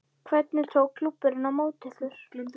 Lóa: Hvernig tók klúbburinn á móti ykkur?